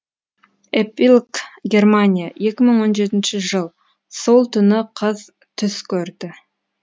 эпилог германия екі мың он жетінші жыл сол түні қыз түс көрді